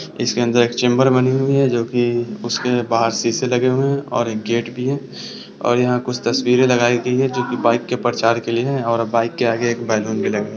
इसके अंदर चैंबर बने हुए हैं जो की उसमें बाहर शीशे लगे हुए हैं और गेट भी और यहाँ कुछ तस्वीरें लगाई गई है जो की बाइक के प्रचार के लिए है और बाइक के आगे एक बैलून भी लगे है।